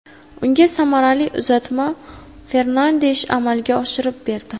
Unga samarali uzatmani Fernandesh amalga oshirib berdi.